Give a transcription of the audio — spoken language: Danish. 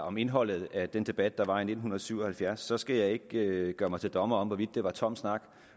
om indholdet af den debat der var i nitten syv og halvfjerds skal jeg ikke gøre mig til dommer over hvorvidt det var tom snak